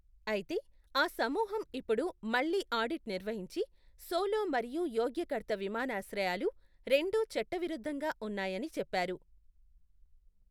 అయితే, ఆ సమూహం ఇప్పుడు మళ్లీ ఆడిట్ నిర్వహించి, సోలో మరియు యోగ్యకర్త విమానాశ్రయాలు రెండూ చట్టవిరుద్ధంగా ఉన్నాయని చెప్పారు.